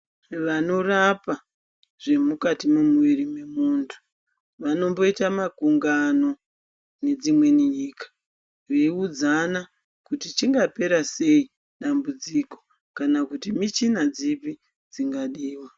Vanorapa zvemukati mwemwiiri wemuntu vanomboita makungano nedzimweni nyika veiudzana kuti chingapera sei dambudziko kana kuti michina dzipi dzingadiwa.